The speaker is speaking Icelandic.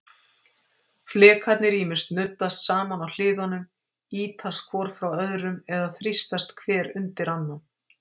Flekarnir ýmist nuddast saman á hliðunum, ýtast hvor frá öðrum, eða þrýstast hver undir annan.